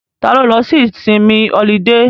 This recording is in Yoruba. Ta ló lọ sí ìsinmi ọlidé?